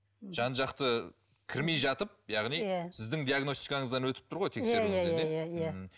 жан жақты кірмей жатып яғни сіздің диагностикаңыздан өтіп тұр ғой тексеруіңізден иә иә иә